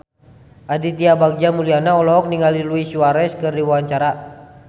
Aditya Bagja Mulyana olohok ningali Luis Suarez keur diwawancara